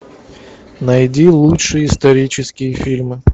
найди лучшие исторические фильмы